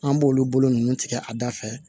An b'olu bolo nunnu tigɛ a da fɛ